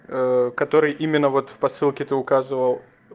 ээ который именно вот в посылке ты указывал